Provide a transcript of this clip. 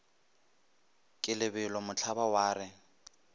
ke lebelo mohlaba wa re